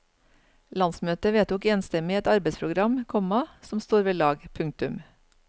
Landsmøtet vedtok enstemmig et arbeidsprogram, komma som står ved lag. punktum